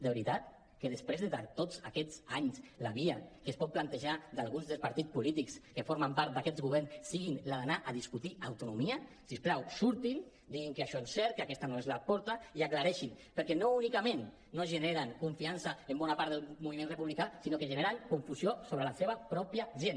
de veritat que després de tots aquests anys la via que es pot plantejar algun dels partits polítics que formen part d’aquest govern és la d’anar a discutir autonomia si us plau surtin diguin que això no és cert que aquesta no és la porta i aclareixin ho perquè no únicament no generen confiança en bona part del moviment republicà sinó que generen confusió sobre la seva pròpia gent